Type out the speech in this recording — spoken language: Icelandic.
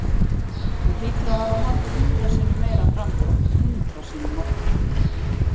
Hún hlýtur að hafa haldið hundrað sinnum meira framhjá, hundrað sinnum oftar.